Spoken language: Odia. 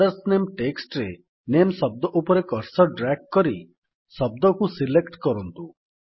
ଫାଦର୍ସ ନାମେ ଟେକ୍ସଟ୍ ରେ ନାମେ ଶବ୍ଦ ଉପରେ କର୍ସର୍ ଡ୍ରାଗ୍ କରି ଶବ୍ଦକୁ ସିଲେକ୍ଟ କରନ୍ତୁ